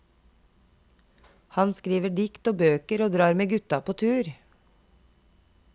Han skriver dikt og bøker og drar med gutta på tur.